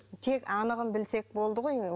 тек анығын білсек болды ғой